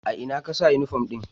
A ina ka sa uniform ɗin?